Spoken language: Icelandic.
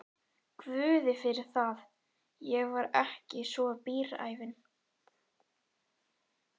Guði fyrir það, ég var ekki svo bíræfin.